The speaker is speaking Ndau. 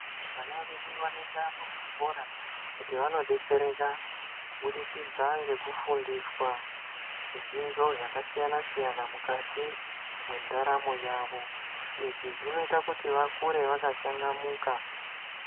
Vana vedu vanoenda muzvikora kuti vanodetsereka kubudikidza ngekufundiswa zvidzidzo zvakasiyana siyana mukati mwendaramo yavo izvi zvinoite kuti vakure vakachangamuka.